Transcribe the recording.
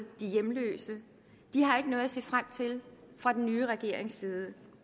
de hjemløse har ikke noget at se frem til fra den nye regerings side